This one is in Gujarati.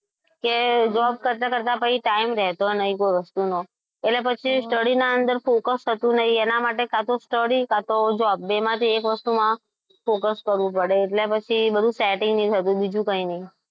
કે job કરતા કરતા પછી time રહેતો નથી બોલો એટલે પછી study ની અંદર focus થતું નથી એટલે પછી કાં તો study કાં તો job બેમાંથી એક માં focus કરવું પડે એટલે એટલે બીજું setting નહીં થતું બીજું કંઈ નહીં.